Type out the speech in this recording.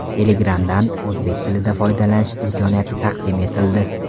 Telegram’dan o‘zbek tilida foydalanish imkoniyati taqdim etildi.